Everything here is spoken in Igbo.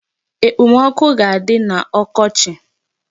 Ekpomọkụ ga-adị n'ọkọchị.